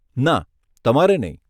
ના, તમારે નહીં.